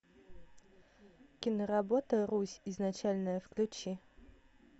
киноработа русь изначальная включи